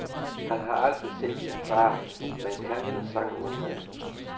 Han har aldrig set sin far, men kan hans sange udenad.